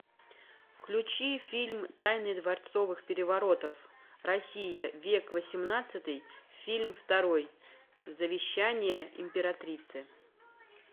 включи фильм тайны дворцовых переворотов россия век восемнадцатый фильм второй завещание императрицы